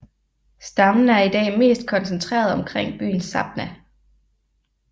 Stammen er i dag mest koncentreret omkring byen Sabha